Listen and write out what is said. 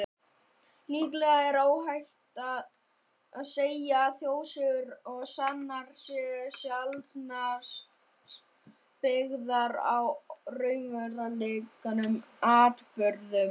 Líklega er óhætt að segja að þjóðsögur og sagnir séu sjaldnast byggðar á raunverulegum atburðum.